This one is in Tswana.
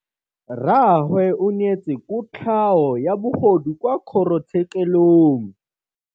Rragwe o neetswe kotlhaô ya bogodu kwa kgoro tshêkêlông.